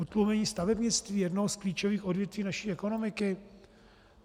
Utlumení stavebnictví, jednoho z klíčových odvětví naší ekonomiky?